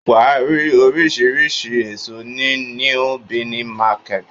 Wàá rí oríṣiríṣi èso ní Níú Bìní market